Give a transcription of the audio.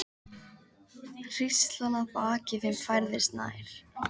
Hríslan að baki þeim færðist nær.